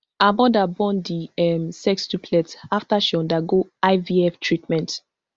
her mother born di um sextuplets after she undergo ivf treatment